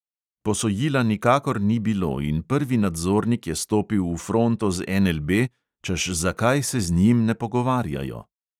Posojila nikakor ni bilo in prvi nadzornik je stopil v fronto z NLB, češ zakaj se z njim ne pogovarjajo.